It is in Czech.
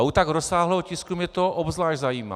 A u tak rozsáhlého tisku mě to obzvlášť zajímá.